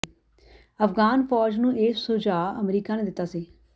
ਅਫ਼ਗਾਨ ਫ਼ੌਜ ਨੂੰ ਇਹ ਸੁਝਾਅ ਅਮਰੀਕਾ ਨੇ ਦਿੱਤਾ ਸੀ